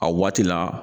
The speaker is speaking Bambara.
A waati la